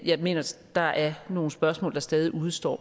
jeg mener der er nogle spørgsmål der stadig udestår